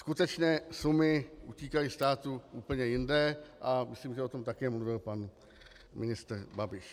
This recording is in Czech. Skutečné sumy utíkaly státu úplně jinde a myslím, že o tom také mluvil pan ministr Babiš.